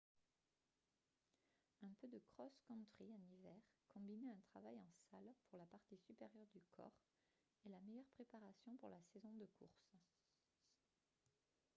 un peu de cross-country en hiver combiné à un travail en salle pour la partie supérieure du corps est la meilleure préparation pour la saison de course